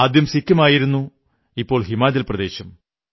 ആദ്യം സിക്കിമായിരുന്നു ഇപ്പോൾ ഹിമാചൽ പ്രദേശും